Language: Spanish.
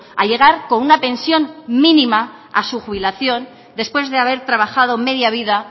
a llegar con una pensión mínima a su jubilación después de haber trabajado media vida